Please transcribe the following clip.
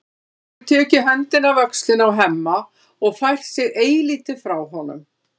Hún hefur tekið höndina af öxlinni á Hemma og fært sig eilítið frá honum.